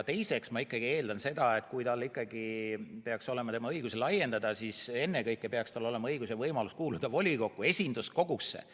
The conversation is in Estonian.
Teiseks ma eeldan, et kui õigusi laiendada, siis ennekõike peaks tal olema õigus ja võimalus kuuluda volikokku, esinduskogusse.